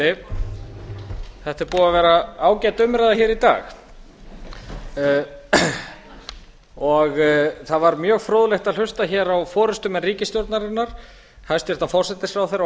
er búið að vera ágæt umræða hér í dag það var mjög fróðlegt að hlusta hér á forustumenn ríkisstjórnarinnar hæstvirtur forsætisráðherra og